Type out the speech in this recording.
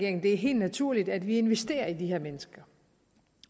at det er helt naturligt at vi investerer i de her mennesker